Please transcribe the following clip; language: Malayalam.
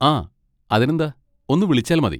ആ, അതിനെന്താ! ഒന്ന് വിളിച്ചാൽ മതി.